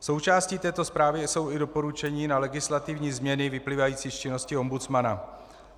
Součástí této zprávy jsou i doporučení na legislativní změny vyplývající z činnosti ombudsmana.